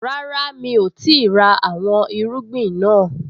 Rárá, mi ò tíì ra àwọn irúgbìn naa